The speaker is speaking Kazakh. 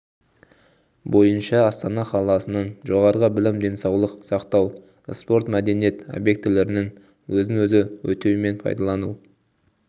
бойынша астана қаласының жоғарғы білім денсаулық сақтау спорт мәдениет объектілерінің өзін өзі өтеу мен пайдалану